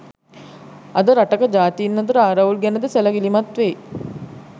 අද රටක ජාතීන් අතර ආරවුල් ගැන ද සැලකිලිමත් වෙයි